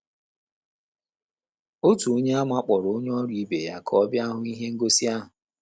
Otu Onyeàmà kpọrọ onye ọrụ ibe ya ka ọ bịa hụ ihe ngosi ahụ.